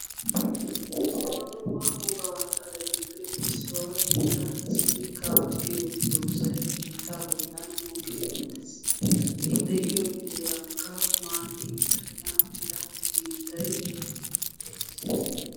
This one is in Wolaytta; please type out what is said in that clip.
Dumma dumma wogaa xaletuppe issuwa gidida simikaa giyo dozzayi biittaa bollan mokki uttis. I de7iyo heerankka maati bayinna mela biittayi de7es.